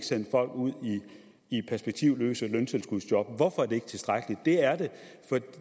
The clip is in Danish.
sende folk ud i perspektivløse løntilskudsjob hvorfor er det ikke tilstrækkeligt